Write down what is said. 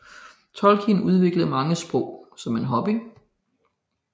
Tolkien udviklede mange sprog som en hobby